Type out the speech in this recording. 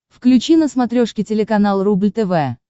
включи на смотрешке телеканал рубль тв